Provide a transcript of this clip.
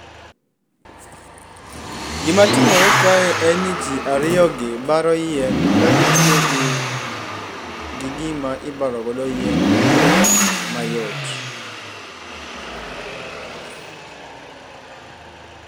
Gimatimore kae en ni ji ariyogi baro yien kagitiyogi gima ibarogodo yien e yo mayot.